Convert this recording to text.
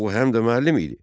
Axı o həm də müəllim idi.